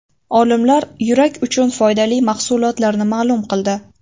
Olimlar yurak uchun foydali mahsulotlarni ma’lum qildi.